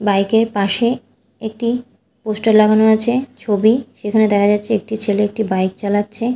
Bike -এর পাশে একটি পোস্টার লাগানো আছে ছবি সেখানে দেখা যাচ্ছে একটি ছেলে একটি বাইক চালাচ্ছে।